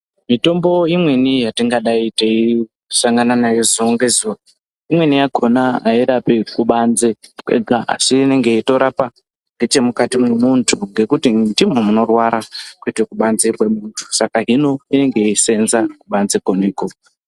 Mitombo imweni yatinga dai teisangane nayo zuwa ngezuwa imweni yakhona airapi kubanze kwega asi inenge yeitorapa ngechemukati mwemuntu ngekuti ndimwo munorwara kwete kubanze kwemuntu saka inenge yeisenza kubanze kwemuku.